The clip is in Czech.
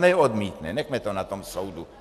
Snad neodmítne, nechme to na tom soudu.